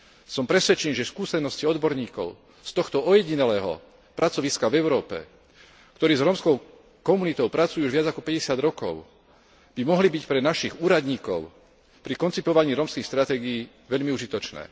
Som presvedčený, že skúsenosti odborníkov z tohto ojedinelého pracoviska v Európe, ktorí s rómskou komunitou pracujú už viac ako päťdesiat rokov, by mohli byť pre našich úradníkov pri koncipovaní rómskych stratégií veľmi užitočné.